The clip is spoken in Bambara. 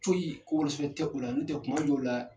Foyi ko wolon sɛbɛn tɛ u la, n'o tɛ kuma' dɔw la